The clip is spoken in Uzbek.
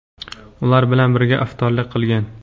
ular bilan birga iftorlik qilgan.